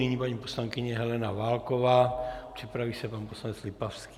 Nyní paní poslankyně Helena Válková, připraví se pan poslanec Lipavský.